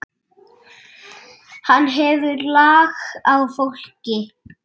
Hann hefur lag á fólki.